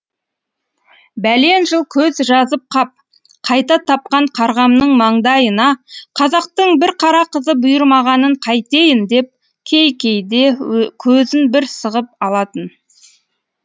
бәлен жыл көз жазып қап қайта тапқан қарғамның маңдайына қазақтың бір қара қызы бұйырмағанын қайтейін деп кей кейде көзін бір сығып алатын